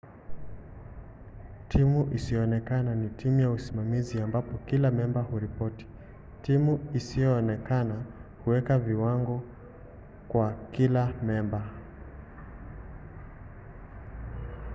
timu isiyoonekana” ni timu ya usimamizi ambapo kila memba huripoti. timu isiyoonekana huweka viwango kwa kila memba